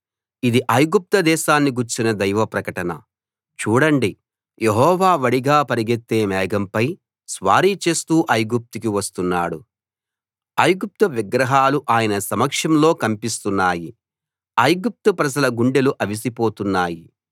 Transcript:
ఇది ఐగుప్తు దేశాన్ని గూర్చిన దైవ ప్రకటన చూడండి యెహోవా వడిగా పరిగెత్తే మేఘంపై స్వారీ చేస్తూ ఐగుప్తుకి వస్తున్నాడు ఐగుప్తు విగ్రహాలు ఆయన సమక్షంలో కంపిస్తున్నాయి ఐగుప్తు ప్రజల గుండెలు అవిసిపోతున్నాయి